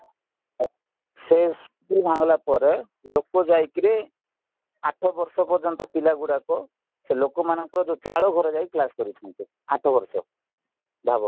ସେ ସ୍କୁଲ ଭାଙ୍ଗିଲାପରେ ଲୋକାଯାଇକିରି ଆଠ ବର୍ଷ ପର୍ଯ୍ୟନ୍ତ ପିଲାଗୁଡାକ ସେଲୋକମାନଙ୍କର ଯୋଉ ଚାଳ ଘରେ କ୍ଲାସ କରୁଛନ୍ତି ଆଠ ବର୍ଷ ଭାବ